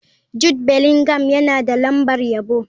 Jude Bellingham yana da lambar yabo.